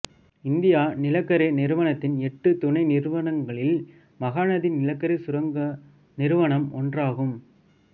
India நிலக்கரி நிறுவனத்தின் எட்டு துணை நிறுவனங்களில் மகாநதி நிலக்கரி சுரங்க நிறுவனம் ஒன்றாகும்